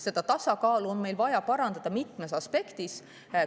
Seda tasakaalu on meil vaja parandada mitmes aspektis.